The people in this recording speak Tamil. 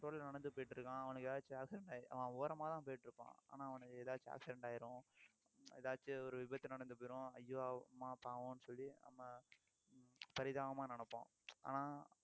road ல நடந்து போயிட்டிருக்கான் அவனுக்கு ஏதாச்சும் அவன் ஓரமாதான் போயிட்டிருப்பான் ஆனா அவனுக்கு ஏதாச்சும் accident ஆயிரும் எதாச்சும் ஒரு விபத்து நடந்து போயிரும் ஐயோ அம்மா பாவம்ன்னு சொல்லி நம்ம பரிதாபமா நினைப்போம் ஆனா